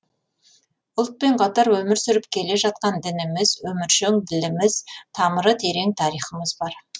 ұлтпен қатар өмір сүріп келе жатқан дініміз өміршең діліміз тамыры терең тарихымыз бар